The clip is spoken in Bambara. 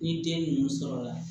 Ni den ninnu sɔrɔla